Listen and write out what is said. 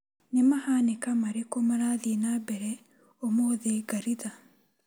Nĩ mahanĩka marĩkũ marathiĩ na mbere ũmũthĩ Ngaritha?